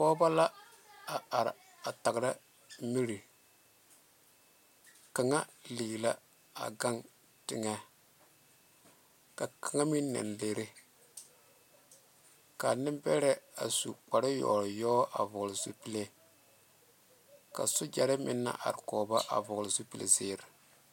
Pɔgeba la a are a taŋera miri kaŋ lee la a gaŋ taŋɛ ka kaŋa meŋ naŋ leere ka neŋ berɛ su kpaare yɔyɔ ka sogyere naŋ are kɔ ba a su kpaare nu zeɛre.